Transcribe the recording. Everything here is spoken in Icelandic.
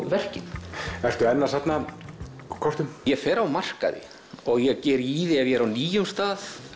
verkin ertu enn að safna kortum ég fer á markaði og ég geri í því ef ég er á nýjum stað